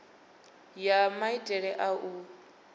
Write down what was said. ya kha maitele a u